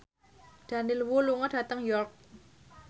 Daniel Wu lunga dhateng York